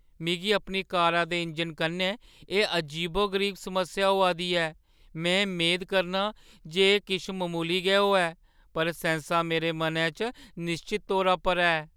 मिगी अपनी कारा दे इंजन कन्नै एह् अजीबो-गरीब समस्या होआ दी ऐ। में मेद करनां जे एह् किश ममूली गै होऐ, पर सैंसा मेरे मनै च निश्चत तौरा पर है।